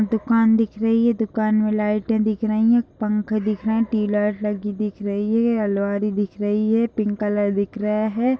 दुकान दिख रही है दुकान में लाइट दिख रही है पंखा दिख रहा है ट्यूबलाइट लगी दिख रही है अलमारी दिख रही हैपिंक कलर की दिख रहा है।